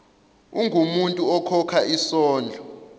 ungumuntu okhokha isondlo